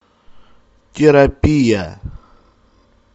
терапия